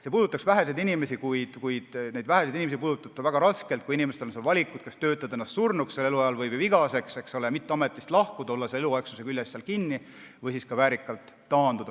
See puudutab väheseid inimesi, kuid neid väheseid inimesi puudutab see väga raskelt, kui neil on valik, kas töötada ennast surnuks või vigaseks, lahkumata ametist, olles selle eluaegsuse küljes kinni, või väärikalt taanduda.